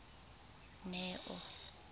neo